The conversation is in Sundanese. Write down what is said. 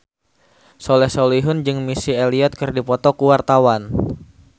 Soleh Solihun jeung Missy Elliott keur dipoto ku wartawan